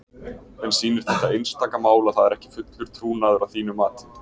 En sýnir þetta einstaka mál að það er ekki fullur trúnaður að þínu mati?